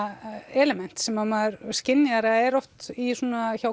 element sem maður skynjar eða er oft hjá